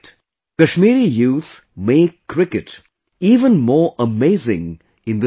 Kashmiri youth make cricket even more amazing in the snow